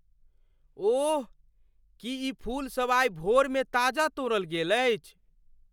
ओह! की ई फूल सब आइ भोरमे ताजा तोड़ल गेल अछि?